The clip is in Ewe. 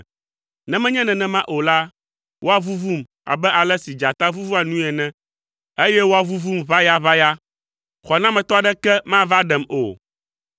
Ne menye nenema o la, woavuvum abe ale si dzata vuvua nui ene, eye woavuvum ʋayaʋaya, xɔnametɔ aɖeke mava ɖem o.